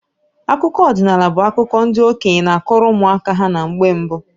Akụkọ ọdinaala bu akụkọ ndị okenye n'akọrọ ụmụ aka ha na mgbe mbụ.